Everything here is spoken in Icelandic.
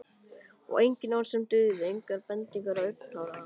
Og engin orð sem dugðu, engar bendingar eða augnaráð.